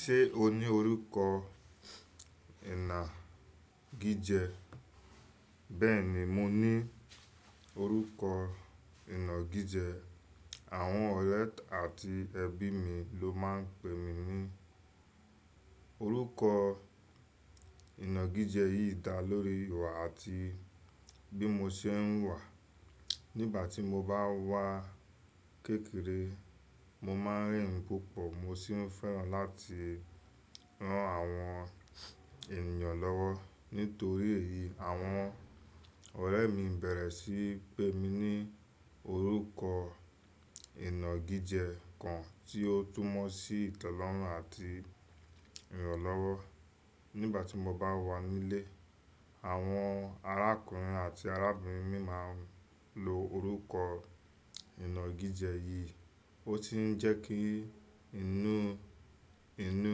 Ṣé o ní orúkọ ìna gíje? Bẹ́ẹ̀ni, mo ní orúkọ ìna gíje. Àwọn ọ̀rẹ́ àti ẹbí mi ló máà ń pè mí ní orúkọ ìna gíje yìí dá lórí ìwà àti bí mo ṣe ń huwà. Nígbà tí mo bá wà kékeré, mo máa rìn púpọ̀, mo sì fẹ́ràn láti rán àwọn ènìyàn lọ́wọ́. Nítorí èyí àwọn ọ̀rẹ́ mi bẹ̀rẹ̀ sí n pè ní orúkọ ìna gíje kan to túmọ̀ sí ìtẹ́lọ́rùn àti ìrànlọ́wọ́. Nígbà tí mo bá wà nílé, àwọn arákùnrin àti arábìnrin mi máa ń lo orúkọ ìna gíje yìí, ó sì ń jẹ́ kí inú, inú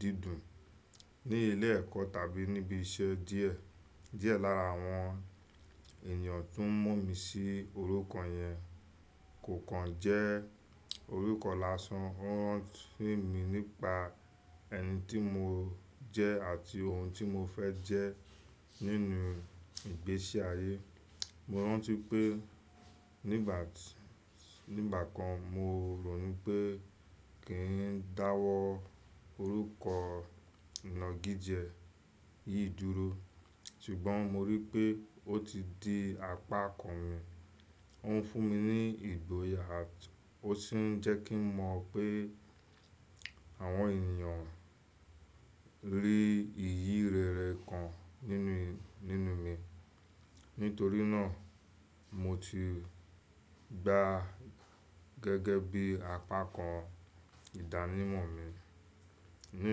dídùn. Ní ilé ẹ̀kọ́ tàbí níbi iṣẹ́ díẹ̀, díẹ̀ lára àwọn ènìyàn tó ń mọ̀ mí sí orúkọ yẹn kò kan jẹ́ orúkọ lásán. Ó rántí mi nípa ẹni tí mo jẹ́ àti ohun tí mo fẹ́ jẹ́ nínú ìgbésí ayé. Mo rántí pé ní ìgbà kan mo rònú pé kí n dáwọ́ orúkọ ìna gíje yìí dúró, ṣùgbọ́n mo rí pé ó ti di apákan mi. Ó ń fún mi ní ìgboyà àti ó sì ń jẹ́ kí n mọ̀ pé àwọn ènìyàn rí ìyì rere kan nínú, nínú mi. Nítorí náà, mo ti gbá gẹ́gẹ́ bí apákan ìdánimọ̀ mi. Ní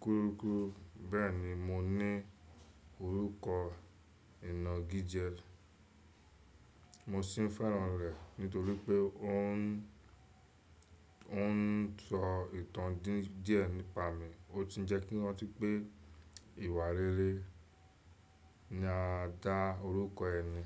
kúrukuru, bẹ́ẹ̀ni mo ní orúkọ ìna gíje, mo sì fẹ́ràn rẹ̀ nítorí pé ó ń, ó ń sọ ìtàn dí díẹ̀ nípa mi. Ó tun jẹ́ kí n rántí pé ìwà rere ni a dá orúkọ ẹni.